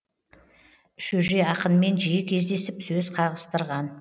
шөже ақынмен жиі кездесіп сөз қағыстырған